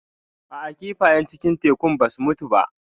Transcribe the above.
A'a kifayen cikin tekun ba su mutu ba.